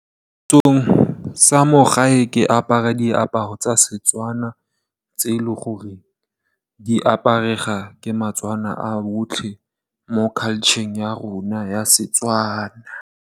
Mo setsong sa mo gae ke apara diaparo tsa Setswana tse e leng gore di aparwa ke batswana ba botlhe mo culture-eng ya rona ya Setswana.